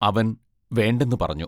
അവൻ വേണ്ടെന്നു പറഞ്ഞു.